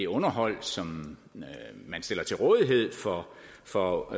underhold som man stiller til rådighed for for